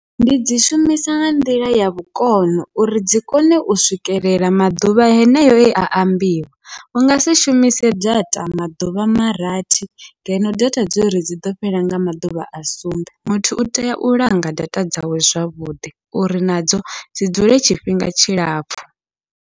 Ndi dzi shumisa nga nḓila ya vhukono uri dzi kone u swikelela maḓuvha heneyo ea ambiwa, ungasi shumise data maḓuvha marathi ngeno data dzori dziḓo fhela nga maḓuvha a sumbe muthu utea u langa data dzawe zwavhuḓi, uri nadzo dzi dzule tshifhinga tshilapfhu.